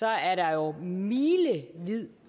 er der jo milevid